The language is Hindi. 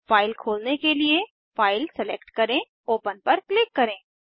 फाइल खोलने के लिए फाइल सेलेक्ट करें ओपन पर क्लिक करें